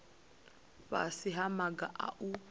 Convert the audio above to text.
fhasi ha maga a u